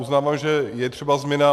Uznávám, že je třeba změna.